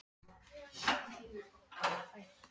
Hún hafði fundið þetta allt saman upp, var það ekki?